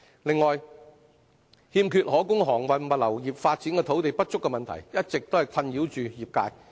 此外，欠缺可供航運物流發展土地不足的問題，一直困擾業界。